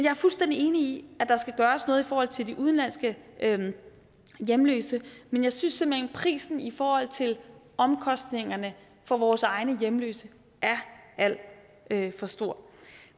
er fuldstændig enig i at der skal gøres noget i forhold til de udenlandske hjemløse men jeg synes simpelt prisen i forhold til omkostningerne for vores egne hjemløse er alt for stor